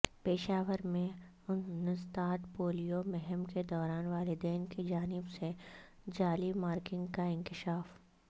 پشاور میں انسداد پولیو مہم کے دوران والدین کی جانب سے جعلی مارکنگ کا انکشاف